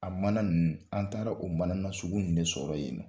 A mana ninnu an taara o mana nasugu de sɔrɔ yen.